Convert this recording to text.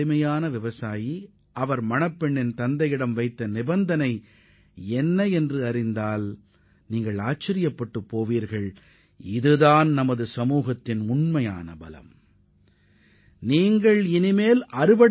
சாதாரண விவசாயியான குர்பச்சன் சிங் பெண்ணின் தந்தையிடம் விதித்த நிபந்தனை நமது சமுதாயத்தின் உண்மையான வலிமையை பிரதிபலிப்பதாக அமைந்துள்ளது